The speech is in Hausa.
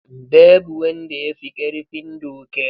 Babu wanda ya fi ƙarfin doka.